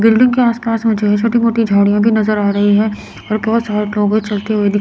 building के आसपास मुझे छोटी मोटी झाड़ियां भी नजर आ रही है और बहुत सारे लोग है चलते हुए दिख--